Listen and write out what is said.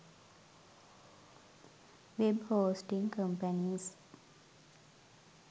web hosting companies